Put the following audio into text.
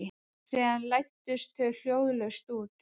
Síðan læddust þau hljóðlaust út.